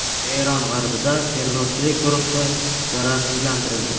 Eron g‘arbida terrorchilik guruhi zararsizlantirildi.